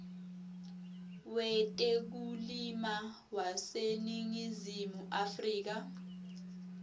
wetekulima waseningizimu afrika